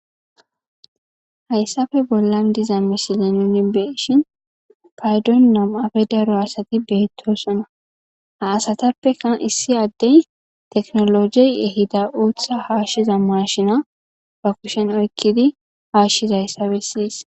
Hayssafe bollan diza misile nuni beshin paydon namafe daro asati beettosona haasatappekan issi addey teknologey ehida uutha haashshiza mashina ba kushen oykkidi haashshiza hayssabe siyis.